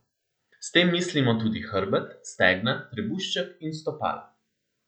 S tem mislimo tudi hrbet, stegna, trebušček in stopala.